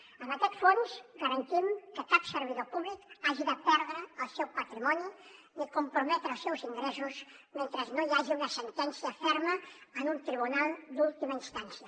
amb aquest fons garantim que cap servidor públic hagi de perdre el seu patrimoni ni comprometre els seus ingressos mentre no hi hagi una sentència ferma en un tribunal d’última instància